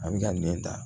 A bɛ ka nɛn ta